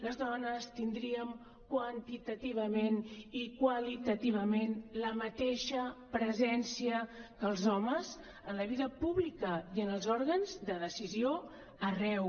les dones tindríem quantitativament i qualitativament la mateixa presència que els homes en la vida pública i en els òrgans de decisió arreu